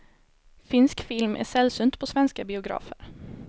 Finsk film är sällsynt på svenska biografer.